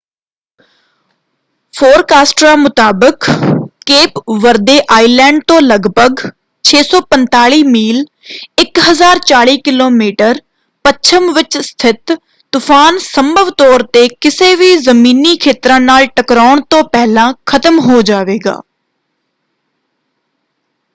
ਫੋਰਕਾਸਟਰਾਂ ਮੁਤਾਬਕ Cape Verde island ਤੋਂ ਲਗਭਗ 645 ਮੀਲ 1040 ਕਿਲੋਮੀਟਰ ਪੱਛਮ ਵਿੱਚ ਸਥਿਤ ਤੂਫਾਨ ਸੰਭਵ ਤੌਰ ‘ਤੇ ਕਿਸੇ ਵੀ ਜ਼ਮੀਨੀ ਖੇਤਰਾਂ ਨਾਲ ਟਕਰਾਉਣ ਤੋਂ ਪਹਿਲਾਂ ਖਤਮ ਹੋ ਜਾਵੇਗਾ।